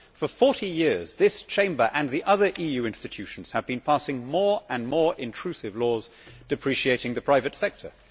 For 40 years this Chamber and the other EU institutions have been passing more and more intrusive laws depreciating the private sector.